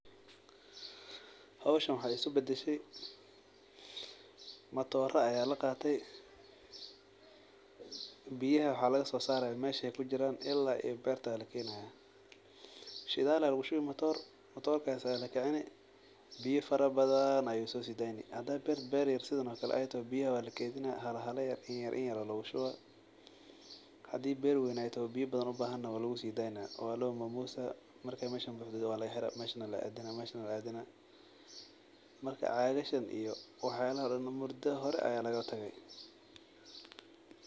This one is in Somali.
Howshan waxa e iskubadashe matoro aya laqate biyaha waxa lagasosaraya meesha ey kujiran ila berta aya lakenaya shidal aya lugushubi mator mator aya lakici biyo fara badan ayu sodeynaya hadey beer sidan uyar toho biyaha wa lokeydina ayar aya lugudeyno hadey berwen tahayna biyo badan ubahan toho walugusideyna meeshana walomosa marka cagasgan iyo waxyalaha mudo hore aya lagatage.